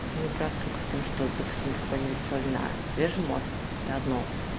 майнкрафттолько в том что допустим попробовать соль на свежем мост это одно